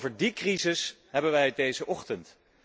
Over die crisis hebben wij het deze ochtend.